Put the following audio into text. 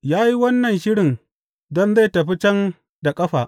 Ya yi wannan shirin don zai tafi can da ƙafa.